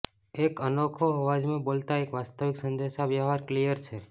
એક અનોખો અવાજમાં બોલતા એક વાસ્તવિક સંદેશાવ્યવહાર કિલર છે